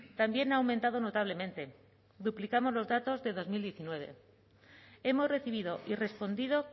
también ha aumentado notablemente duplicamos los datos de dos mil diecinueve hemos recibido y respondido